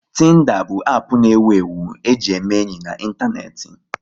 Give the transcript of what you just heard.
Tinda bụ app na ewu ewu e ji eme enyi n'Ịntaneti